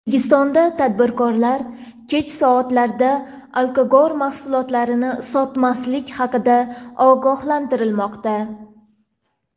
O‘zbekistonda tadbirkorlar kech soatlarda alkogol mahsulotini sotmaslik haqida ogohlantirilmoqda.